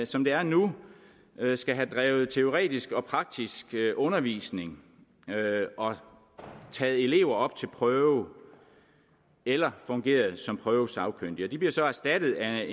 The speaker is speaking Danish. som det er nu skal have bedrevet teoretisk og praktisk undervisning og taget elever op til prøve eller fungeret som prøvesagkyndig det bliver så erstattet af